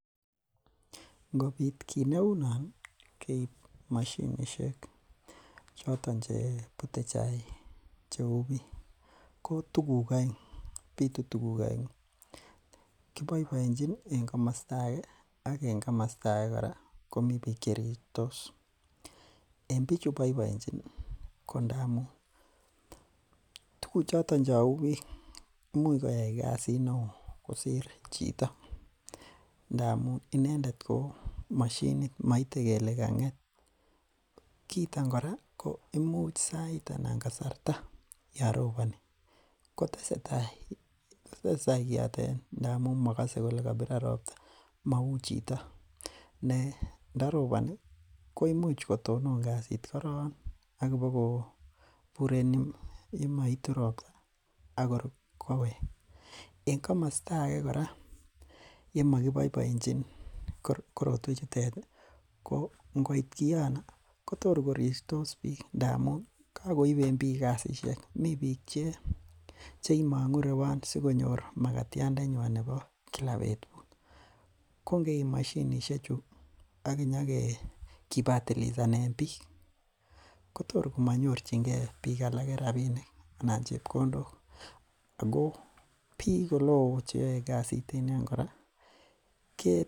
Ngobit kii neunon keib moshinisiek choton chebute chaik cheu biik ko tuguk oeng, bitu tuguk oeng'u ,kiboiboenjin en komosto age ak en komosto age kora komi biik cherirtos, en bichu boiboenjin ii ko ndamun tuguk choton cheu biik imuch koyoe kasit neo kosir chito ndamun inendet ko mashinit moite kele kang'et, kiiton kora imuch sait anan kasarta yon roboni kotesetai kiotet ngamun mogose kole kobiron robta mou chito ne ndaroboni ko imuch kotonon kasit korong ikibokobur en yun moitu robta akor koweg, en komosto age kora yemokiboiboenjin korotwechutet ii ko ingoit kiono kotor korirtos biik ngamun kakoiben biik kasisiek, mi biik cheimong'u irewon sikonyor magatyandanywan nebo gila betut, ko ingeib mashinisiechu ak kibatilisanen biik kotor komanyorjingen biik alak rabinik anan chebkondok ako biik oleo ko cheyoe kasit en yon kora.